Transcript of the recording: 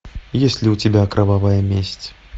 есть ли у тебя кровавая месть